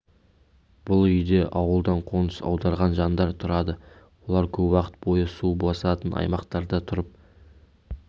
бұл үйде ауылдан қоныс аударған жандар тұрады олар көп уақыт бойы су басатын аймақтарда тұрып